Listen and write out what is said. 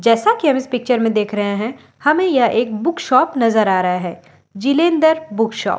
जैसा की हम इस पिक्चर में देख रहे हैं हमें यह एक बुक शॉप नजर आ रहा है जिलेंदर बुक शॉप ।